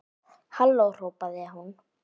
Halló hrópaði hún.